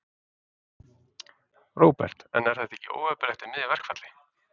Róbert: En er þetta ekki óheppilegt í miðju verkfalli?